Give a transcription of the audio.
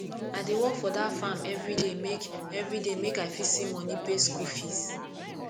i dey work for dat farm everyday make everyday make i fit see money pay skool fees